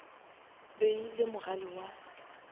be e le mogale wa